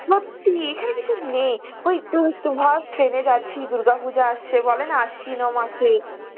সত্যি এখানে কিছু নেই, ওই তুই একটু ভাব train এ যাচ্ছি, দুর্গাপূজো আসছে, বলেনা আশ্বিনো মাসে